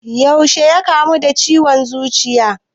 Yaushe ya kamu da ciwon zuciyar?